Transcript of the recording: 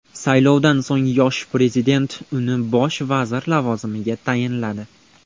Saylovdan so‘ng yosh prezident uni bosh vazir lavozimiga tayinladi.